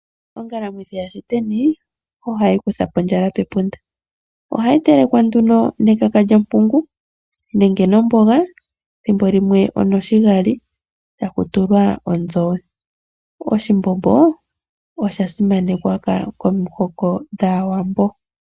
Ongalamwithi yaShiteni , ohayi kutha po ondjala pepunda. Ohayi telekwa nduno nekaka lyompungu nenge nomboga thimbo limwe onoshigali taku tulwa ondjove. Oshimbombo osha simanekwa komihoko dhaawambo.